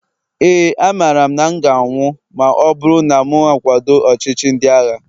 éè, amaara m na m ga-anwụ ma ọ bụrụ na m akwado ọchịchị ndị agha